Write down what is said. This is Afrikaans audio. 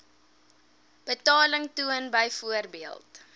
betaling toon byvoorbeeld